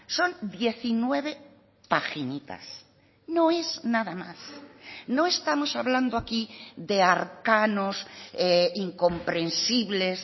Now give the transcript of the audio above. son diecinueve paginitas no es nada más no estamos hablando aquí de arcanos incomprensibles